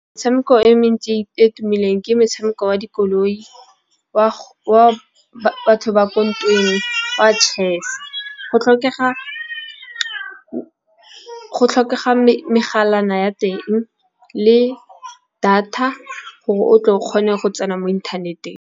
Metshameko e mentsi e tumileng ke motshameko wa dikoloi, wa batho ba ko ntweng wa chess. Go tlhokega megala ya teng le data gore o tle o kgone go tsena mo inthaneteng.